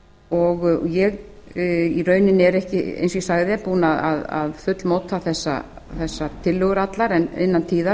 og ég í rauninni er ekki eins og ég sagði búin að fullmóta þessarar tillögur allar en innan tíðar